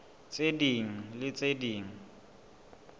tse ding le tse ding